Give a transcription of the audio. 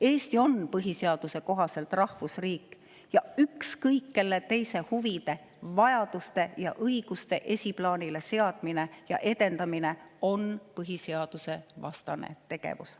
Eesti on põhiseaduse kohaselt rahvusriik ja ükskõik kelle teise huvide, vajaduste ja õiguste esiplaanile seadmine ja edendamine on põhiseadusevastane tegevus.